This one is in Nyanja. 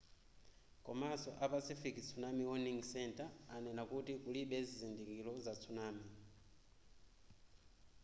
komanso a pacific tsunami warning center anena kuti kulibe zizindikiro za tsunami